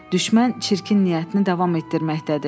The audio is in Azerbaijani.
Düşmən çirkin niyyətini davam etdirməkdədir.